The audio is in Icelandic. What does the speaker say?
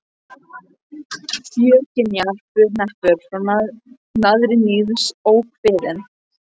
Fjörgynjar bur neppur frá naðri níðs ókvíðinn.